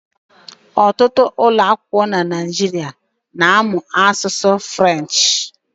Ọtụtụ ụlọakwụkwọ na Naịjirịa na-amụ asụsụ French.